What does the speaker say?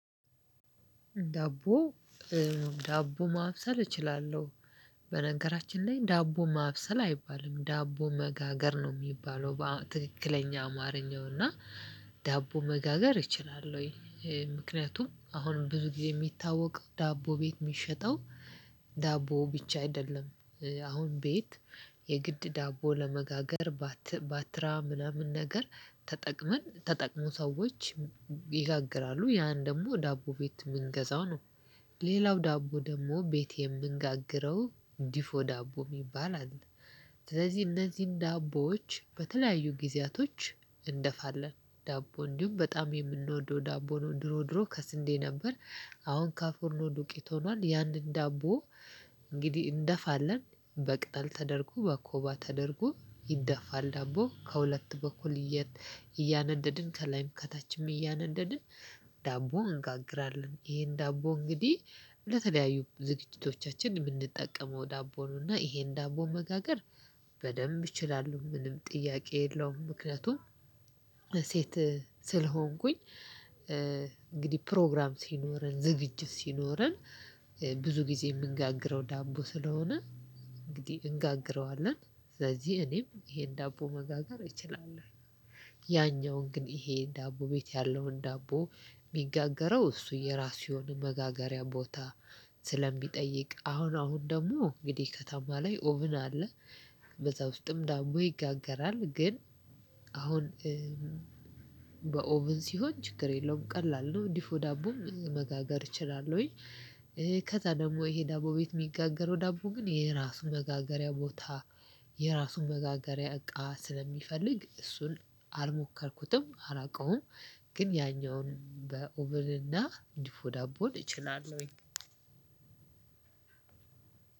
ዳቦ ዳቦ ማብሰል እችላለሁ። በነገራችን ላይ ዳቦ ማብሰል አይባልም ዳቦ መጋገር ነው የሚባለው ትክክለኛ አማርኛው እና ዳቦ መጋገር ይችላል? ወይ ምክንያቱም አሁንም ብዙ ጊዜ የሚታወቀው ዳቦ ቤት የሚሸጠው ዳቦ ብቻ አይደለም አሁን ቤት የግድ ዳቦ ለመጋገር ባትራ ምናምን ነገር ተጠቅመን ተጠቅሞ ሰዎች ይጋግራሉ ያን ደግሞ ዳቦ ቤት የምንገዛው ነው። ሌላው ዳቦ ደግሞ ቤቴን የምንጋግረው ዲፎ ዳቦ ይባላል። ስለዚህ እነዚህን ዳቦዎች በተለያዩ ጊዜያቶች እንደፋለን ዳቦ እንዲሁም በጣም የምንወደው ዳቦ ነው። ድሮ ድሮ ከስንዴ ነበር አሁን ከፎርኖ ዱቄት ሆኗል። ያንን ዳቦ እንግዲህ እንደፋለን በቅጠል ተደርጎ በኮባ ተደርጎ ይደፋል ዳቦ ከሁለት በኩል እያነደድን ከላይም ከታችም እያነደድን ዳቦ አንጋግራለን። ይሄን ዳቦ እንግዲህ ለተለያዩ ዝግጅቶቻችን የምንጠቀመው ዳቦኑና ይሄን ዳቦ መጋገር በደንብ ይችላሉ ምንም ጥያቄ የለውም። ምክንያቱም ሴት ስለሆንኩኝ እንግዲህ ፕሮግራም ሲኖረን ዝግጅት ሲኖረን ብዙ ጊዜ የምንጋግረው ዳቦ ስለሆነ እንግዲህ እንጋግረዋለን ስለዚህ እኔም ይሄን ዳቦ መጋገር እችላለሁ። ያኛውን ግን ይሄ ዳቦ ቤት ያለውን ዳቦ የሚጋገረው እሱ የራሱ የሆነ መጋገሪያ ቦታ ስለሚጠይቅ አሁን አሁን ደግሞ እንግዲህ ከተማ ላይ ኦብን አለ። በዛ ውስጥም ዳቦ ይጋገራል ግን አሁን በኦቨን ሲሆን ችግር የለውም ቀላል ነው ዲፎ ዳቦም መጋገር እችላለሁኝ። ከዛ ደግሞ ይሄ ዳቦ ቤት የሚጋገረው ዳቦ ግን የራሱን መጋገሪያ ቦታ የራሱን መጋገሪያ እቃ ስለሚፈልግ እሱን አልሞከርኩትም አላውቀውም። ግን ያኛውን በኦቭን እና ዲፎ ዳቦን እ ችላለሁኝ